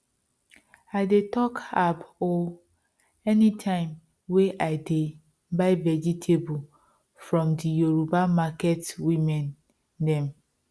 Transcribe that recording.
i dey talk ab o anytime wey i de buy vegetable from the yoruba market women dem